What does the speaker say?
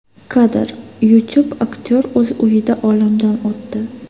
Kadr: YouTube Aktyor o‘z uyida olamdan o‘tdi.